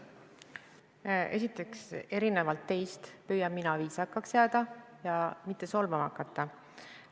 Esiteks, erinevalt teist püüan mina viisakaks jääda ja mitte solvama hakata.